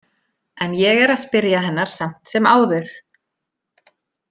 En ég er að spyrja hennar samt sem áður.